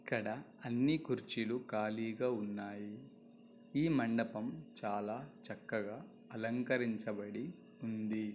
ఇక్కడ అన్ని కుర్చీలు కలిగా ఉన్నాయి ఈ మండపం చాలా చక్కగా అలంకరించబడి ఉంది.